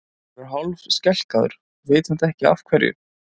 Hann verður hálfskelkaður, veit samt ekki af hverju.